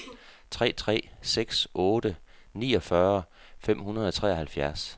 tre tre seks otte niogfyrre fem hundrede og treoghalvfjerds